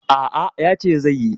A'a, yace zai yi.